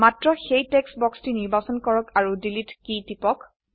মাত্ৰ সেই টেক্সট বাক্সটি নিৰ্বাচন কৰক আৰু ডিলিট কী টিপক